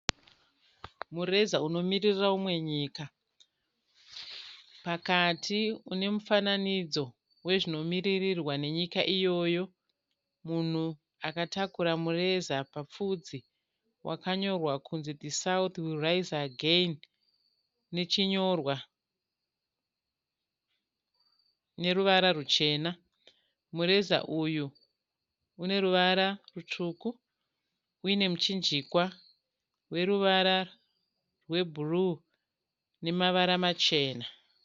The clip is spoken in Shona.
Mureza unomirira umwe nyika. Pakati une mufananidzo wezvinomiririrwa nenyika iyoyo, munhu akatakura mureza papfudzi. Wakanyorwa kunzi 'THE SOUTH WILL RISE AGAIN' nechinyorwa neruvara ruchena. Mureza uyu une ruvara rutsvuku. Une muchinjikwa weruvara rwe'blue' namavara machena.